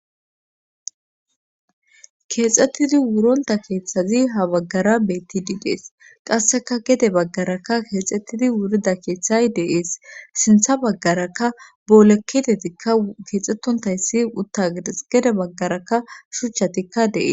Keexxettidi wuronta keeththazi ha baggara bettidiidees qasseka gedde baggarakka keexxettidi wurida keeththay deees sintha baggarakka booleketeetikka keexxettontayssi uutta giddes gedde baggarakka shuuchchatikka de'ees